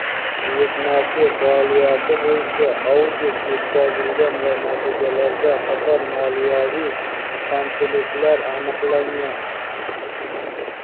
buyurtmachi faoliyati bo‘yicha audit o‘tkazilgan va natijada qator moliyaviy kamchiliklar aniqlangan.